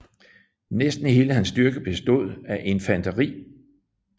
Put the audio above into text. Næsten hele hans styrke bestod af infanteri